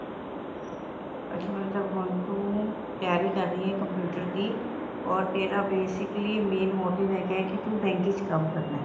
ਅੱਛਾ ਮਤਲਬ ਹੁਣ ਤੂੰ ਤਿਆਰੀ ਕਰ ਰਹੀਂ ਹੈ computer ਦੀ or ਤੇਰਾ basically main motive ਹੈਗਾ ਕੇ ਤੂੰ bank ਚ ਕੰਮ ਕਰਨਾ